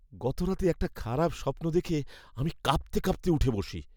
গতরাতে একটা খারাপ স্বপ্ন দেখে আমি কাঁপতে কাঁপতে উঠে বসি।